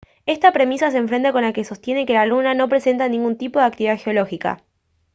esta premisa se enfrenta con la que sostiene que la luna no presenta ningún tipo de actividad geológica